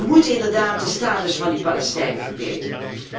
We moeten inderdaad de status van de Palestijnen verbeteren.